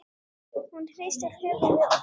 Hún hristir höfuðið og dæsir.